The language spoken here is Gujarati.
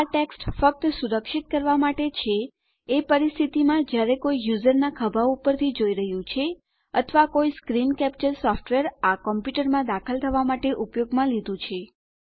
આ ટેક્સ્ટ ફક્ત સુરક્ષિત કરવા માટે છે એ પરિસ્થિતિમાં જયારે કોઈ યુઝરના ખભા ઉપરથી જોઈ રહ્યું છે અથવા કોઈ સ્ક્રીન કેપ્ચર સોફ્ટવેર આ કોમપ્યુંટરમાં દાખલ થવા માટે ઉપયોગમાં લીધું છે